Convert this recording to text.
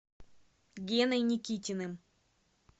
геной никитиным